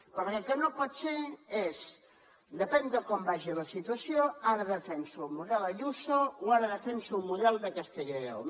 perquè el que no pot ser és depèn de com vagi la situació ara defenso el model ayuso o ara defenso el model de castella i lleó